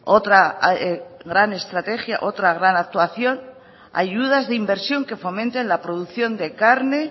otra gran estrategia otra gran actuación ayudas de inversión que fomenten la producción de carne